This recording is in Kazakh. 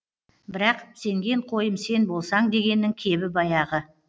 бірақ сенген қойым сен болсаң дегеннің кебі баяғы